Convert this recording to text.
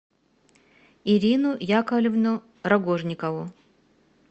ирину яковлевну рогожникову